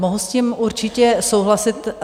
Mohu s tím určitě souhlasit.